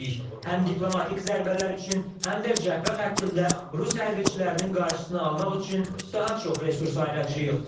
Həm diplomatik zərbələr üçün, həm də cəbhə xəttində rus hərbçilərinin qarşısını almaq üçün daha çox resurs ayıracağıq.